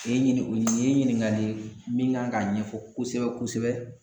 Nin ye ɲini nin ye ɲiningali ye min kan k'a ɲɛfɔ kosɛbɛ kosɛbɛ